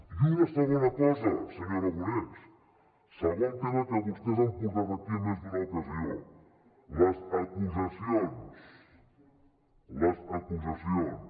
i una segona cosa senyor aragonès segon tema que vostès han portat aquí en més d’una ocasió les acusacions